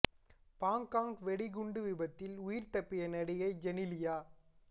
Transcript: Bangkok வெடிகுண்டு விபத்தில் உயிர் தப்பிய நடிகை ஜெனிலியா